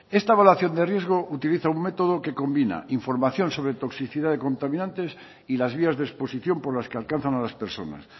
esta evaluación de riesgo utiliza un método que combina información sobre toxicidad de contaminantes y las vías de exposición por las que alcanzan a las personas